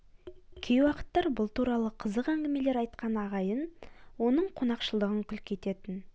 кей уақыттар бұл туралы қызық әңгімелер айтқан ағайын оның қонақшылдығын күлкі ететін